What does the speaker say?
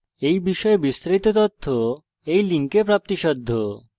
এই বিষয়ে বিস্তারিত তথ্য এই link প্রাপ্তিসাধ্য http:// spokentutorial org/nmeictintro